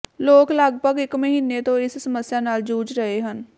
ਲੋਕ ਲਗਪਗ ਇੱਕ ਮਹੀਨੇ ਤੋਂ ਇਸ ਸਮੱਸਿਆ ਨਾਲ ਜੂਝ ਰਹੇ ਹਨ